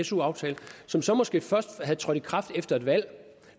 su aftale som så måske først var trådt i kraft efter et valg